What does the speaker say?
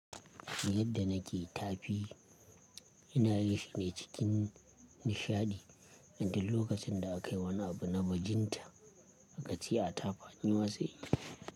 Yadda nake ta fi ina yin shine cikin nishadi, inda lokacin da aka yi wani abu na bajinta, akace a tafa nima sai inyi.